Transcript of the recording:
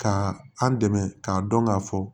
Ka an dɛmɛ k'a dɔn k'a fɔ